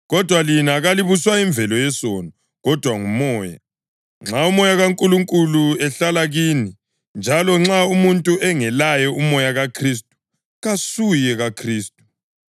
Kodwa lina kalibuswa yimvelo yesono, kodwa nguMoya, nxa uMoya kaNkulunkulu ehlala kini. Njalo nxa umuntu engelaye uMoya kaKhristu, kasuye kaKhristu.